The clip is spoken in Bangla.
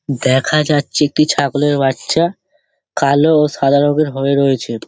দেখা যাচ্ছে একটি ছাগলের বাচ্চা কালো ও সাদা রঙের হয়ে রয়েছে |